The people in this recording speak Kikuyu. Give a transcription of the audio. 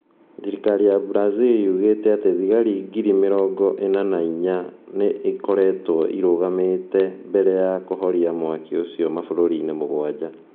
Thirikari ya Brazil yugĩte atĩ thigari giri mĩrogo ĩna na inya nĩ ikoretwo irũgamĩte mbere ya kũhoria mwaki ũcio mabũrũri-inĩ mũgwanja.